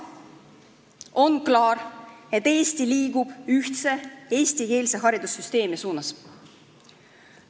On klaar, et Eesti liigub ühtse eestikeelse haridussüsteemi suunas.